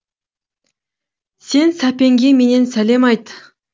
сен сәпенге менен сәлем айт